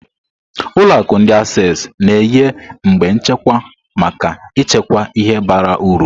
Ụlọ akụ ndi Access na-enye igbe nchekwa maka ịchekwa ihe bara uru.